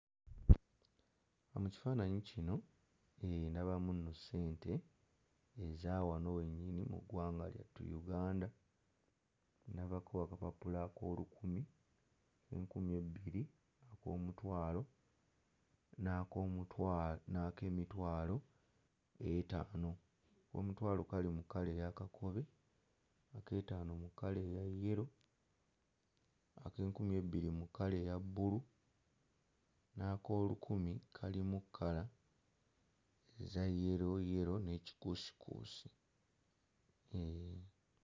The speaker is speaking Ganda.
Mu kifaananyi kino eh ndabamu nno ssente eza wano we nnyini mu ggwanga lyatu Uganda, ndabako akapapula ak'olukumi, ak'enkumi ebbiri, ak'omutwalo, n'ak'omutwalo n'ak'emitwalo etaano, ak'omutwalo kali mu kkala eya kakobe, ak'ettaano mu kkala eya yellow, ak'enkumi ebbiri mu kkala eya bbulu, n'ak'olukumi kali mu kkala eza yellow yellow ne kikuusikuusi eh.